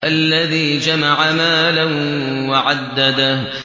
الَّذِي جَمَعَ مَالًا وَعَدَّدَهُ